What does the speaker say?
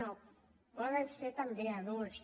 no poden ser també adults